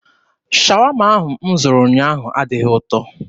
Shawama ahụ m zụrụ ụnyaahụ adịghị ụtọ.